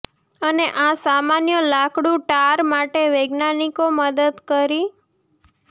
અને આ સામાન્ય લાકડું ટાર માટે વૈજ્ઞાનિકો મદદ કરી